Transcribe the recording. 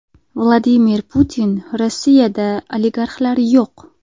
Vladimir Putin: Rossiyada oligarxlar yo‘q.